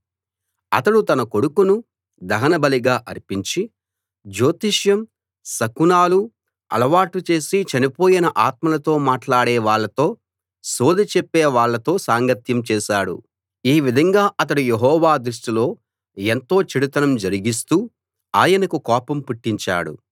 అతడు తన కొడుకును దహన బలిగా అర్పించి జ్యోతిష్యం శకునాలు అలవాటు చేసి చనిపోయిన ఆత్మలతో మాట్లాడే వాళ్ళతో సోదె చెప్పే వాళ్ళతో సాంగత్యం చేశాడు ఈ విధంగా అతడు యెహోవా దృష్టిలో ఎంతో చెడుతనం జరిగిస్తూ ఆయనకు కోపం పుట్టించాడు